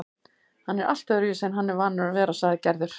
Hann er allt öðruvísi en hann er vanur að vera, sagði Gerður.